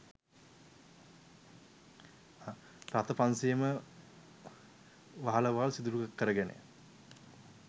රථ පන්සීයේම වහලවල් සිදුරු කරගෙන